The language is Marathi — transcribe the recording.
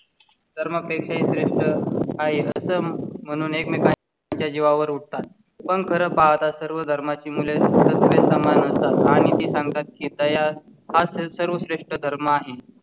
धर्माच्या तर मग त्याचे श्रेष्ठ आहे म्हणून एकमेकांची त्याच्या जीवावर उठतात. पण खरं पाहता सर्व धर्माची मुळे सामान आणि सांगतात कीं तया असेल सर्व श्रेष्ठ धर्म आहे.